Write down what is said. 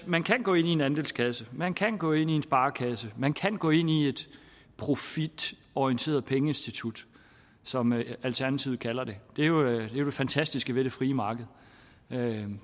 man kan gå ind i en andelskasse man kan gå ind i en sparekasse man kan gå ind i et profitorienteret pengeinstitut som alternativet kalder det det er jo det fantastiske ved det frie marked